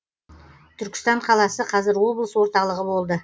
түркістан қаласы қазір облыс орталығы болды